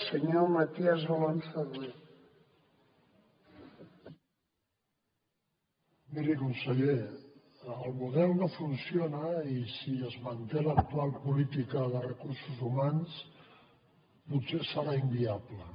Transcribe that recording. miri conseller el model no funciona i si es manté l’actual política de recursos humans potser serà inviable